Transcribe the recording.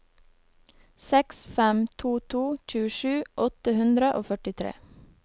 seks fem to to tjuesju åtte hundre og førtitre